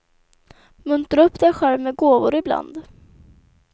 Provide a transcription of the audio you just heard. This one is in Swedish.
Muntra upp dig själv med gåvor i bland.